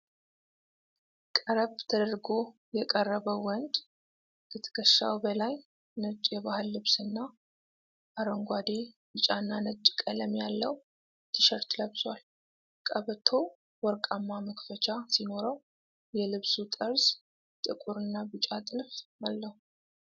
ቀረብ ተደርጎ የቀረበው ወንድ፣ ከትከሻው በላይ ነጭ የባህል ልብስና አረንጓዴ፣ ቢጫና ነጭ ቀለም ያለው ቲሸርት ለብሷል። ቀበቶው ወርቃማ መክፈቻ ሲኖረው፣ የልብሱ ጠርዝ ጥቁርና ቢጫ ጥልፍ አለው።